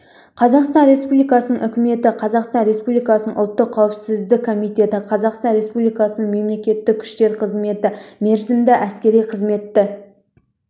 қазақстан республикасының үкіметі қазақстан республикасының ұлттық қауіпсіздік комитеті қазақстан республикасының мемлекеттік күзет қызметі мерзімді әскери қызметті